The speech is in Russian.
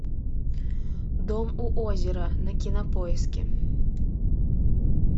дом у озера на кинопоиске